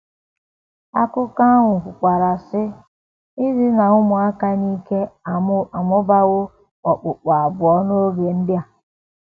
Akụkọ ahụ kwukwara, sị: “ Idina ụmụaka n’ike amụbawo okpukpu abụọ n’oge ndị a...